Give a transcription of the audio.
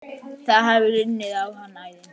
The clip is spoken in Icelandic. Það hafi runnið á hann æði.